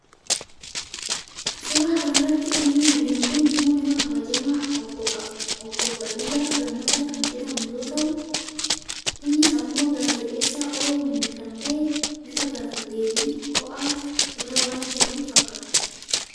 suura kana irratti namni arginu kun immoo nama kabajamaa obbo abbaa duulaa gammadaa kan jedhamu yoo ta'uu, innis immoo gaazexeessaa OMN kan ta'een bifa gaaffiifi deebii ho'aa irra waan jiran fakkaata.